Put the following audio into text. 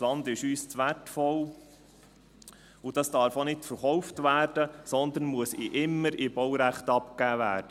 Das Land ist uns zu wertvoll, und es darf auch nicht verkauft werden, sondern muss immer im Baurecht abgegeben werden.